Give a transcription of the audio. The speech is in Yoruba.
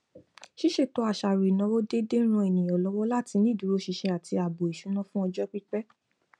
ṣíṣètò àṣàrò ìnáwó déédéé ń ran ènìyàn lọwọ láti ní ìdúróṣinṣin àti ààbò ìṣúná fún ọjọ pípẹ